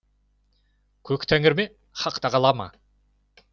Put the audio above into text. көк тәңір ме хақ тағала ма